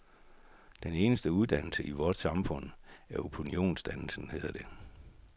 Den eneste dannelse i vort samfund er opinionsdannelsen, hedder det.